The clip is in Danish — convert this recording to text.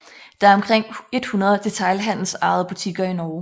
Der er omkring 100 detailhandelsejede butikker i Norge